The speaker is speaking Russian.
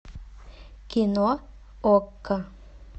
кино окко